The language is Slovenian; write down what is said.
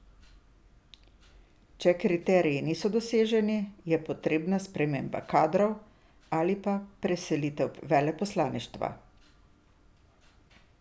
Če kriteriji niso doseženi, je potrebna sprememba kadrov ali pa preselitev veleposlaništva.